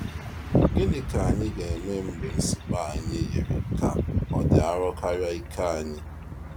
Gịnị ka anyị ga-eme mgbe nsogbu anyị yiri ka ọ dị arọ karịa ike anyị?